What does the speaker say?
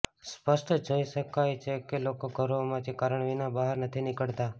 સ્પષ્ટ જોઈ શકાય છે કે લોકો ઘરોમાંથી કારણ વિના બહાર નથી નીકળતા